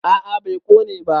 a a bai Kone ba